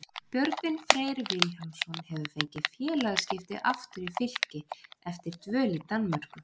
Björgvin Freyr Vilhjálmsson hefur fengið félagaskipti aftur í Fylki eftir dvöl í Danmörku.